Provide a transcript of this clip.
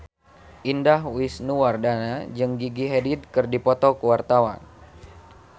Indah Wisnuwardana jeung Gigi Hadid keur dipoto ku wartawan